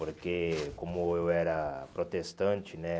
Porque como eu era protestante, né?